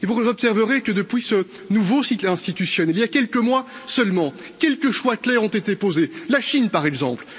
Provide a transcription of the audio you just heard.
Et vous observerez que depuis ce nouveau cycle institutionnel, il y a quelques mois seulement, quelques choix clairs ont été posés. La Chine, par exemple.